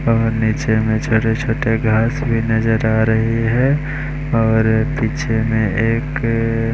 और नीचे में छोटे छोटे घास भी नजर आ रहे हैं और पीछे में एक--